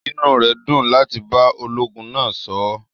Inú rẹ̀ dùn láti bá ológun náa sọ̀ọ̀.